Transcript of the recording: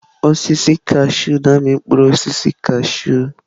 Osisi kashụụ na-amị mkpụrụ osisi kashụụ